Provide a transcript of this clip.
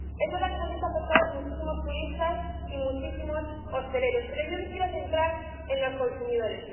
Es verdad que se han visto afectados muchísimos turistas y muchísimos hosteleros, pero yo me quiero centrar en los consumidores.